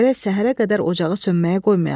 Gərək səhərə qədər ocağı sönməyə qoymayaq.